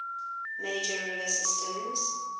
major river systems